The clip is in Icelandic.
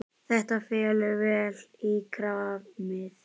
Þetta fellur vel í kramið.